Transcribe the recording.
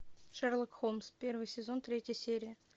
шерлок холмс первый сезон третья серия